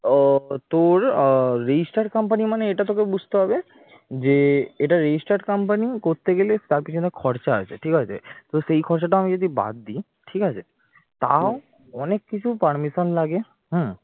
তোর register company মানে এটা তোকে বুঝতে হবে যে এটা register company করতে গেলে তার পেছনে খরচা আছে ঠিক আছে তো সেই খরচাটাও যদি আমি বাদ দিই ঠিক আছে তাও অনেক কিছু permission লাগে হম